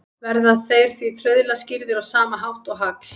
Verða þeir því trauðla skýrðir á sama hátt og hagl.